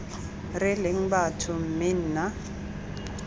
re leng batho mme nna